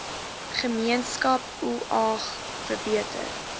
gemeenskap oag verbeter